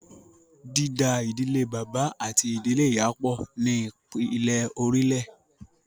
Dída ìdílé bàbá àti ìdílé ìyá pọ̀” ni ìpìlè orílẹ̀